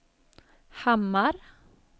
Hammar